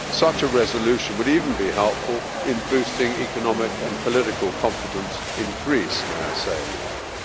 Such a resolution would even be helpful in boosting economic and political confidence in Greece, may I add.